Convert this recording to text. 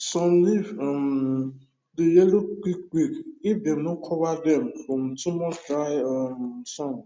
some leaf um dey yellow quick quick if dem no cover dem from too much dry um sun